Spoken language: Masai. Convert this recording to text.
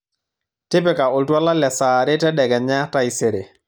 tipika oltuala le saa are tedekenya taisere